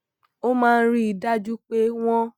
ó máa ń rí i dájú pé wón